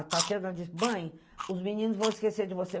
A Tatiana disse, mãe, os meninos vão esquecer de você.